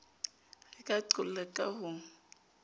re ka qolla ka ho